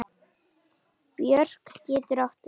Björk getur átt við